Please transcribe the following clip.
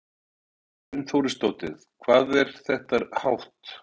Hrund Þórsdóttir: Hvað er þetta hátt?